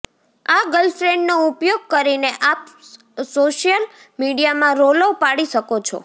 આ ગર્લફ્રેન્ડનો ઉપયોગ કરીને આપ સોશિયલ મીડિયામાં રોલો પાડી શકો છો